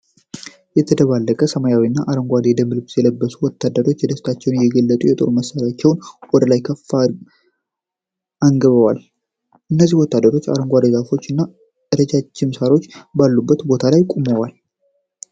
የተደባለቀ ሰማያዊና አረንጓዴ የደንብ ልብስ የለበሱ ወታደሮች ደስታቸው እየገለጹ የጦር መሳሪያዎቻቸውን ወደ ላይ አንግበዋል። እነዚህ ወታደሮች በአረንጓዴ ዛፎች እና ረጃጅም ሳሮች ባሉበት ቦታ ቆመዋል።